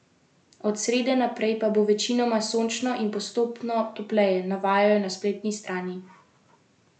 Od srede naprej pa bo večinoma sončno in postopno topleje, navajajo na spletni strani Arsa.